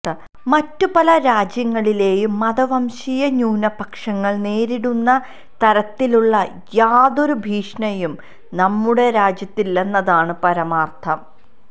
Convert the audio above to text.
മറ്റു പല രാജ്യങ്ങളിലേയും മതവംശീയ ന്യൂനപക്ഷങ്ങള് നേരിടുന്ന തരത്തിലുള്ള യാതൊരു ഭീഷണിയും നമ്മുടെ രാജ്യത്തില്ലെന്നതാണ് പരമാരര്ഥം